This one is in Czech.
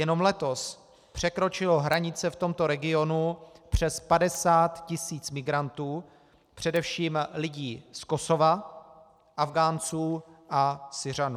Jenom letos překročilo hranice v tomto regionu přes 50 tis. migrantů, především lidí z Kosova, Afghánců a Syřanů.